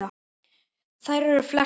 Þær eru flestar á